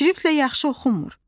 Şriftlə yaxşı oxunmur.